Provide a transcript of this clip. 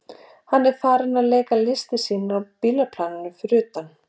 Hann var farinn að leika listir sínar á bílaplaninu fyrir utan.